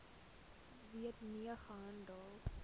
wet mee gehandel